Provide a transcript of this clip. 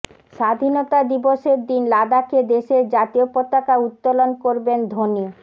স্বাধীনতা দিবসের দিন লাদাখে দেশের জাতীয় পতাকা উত্তোলন করবেন ধোনি